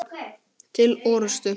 Til orustu!